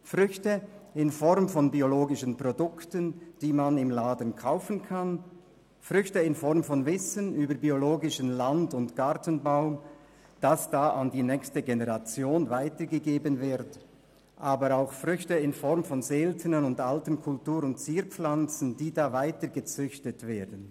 Es sind Früchte in Form von biologischen Produkten, die man im Laden kaufen kann, und Früchte in Form von Wissen über biologischen Land- und Gartenbau, das an die nächste Generation weitergegeben wird, aber auch Früchte in Form von seltenen und alten Kultur- und Zierpflanzen, die da weitergezüchtet werden.